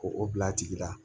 Ko o bil'a tigi la